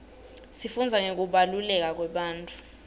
sifundza ngekubaluleka kwebantfu